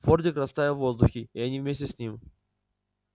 фордик растаял в воздухе и они вместе с ним